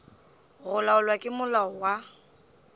go laolwa ke molao wa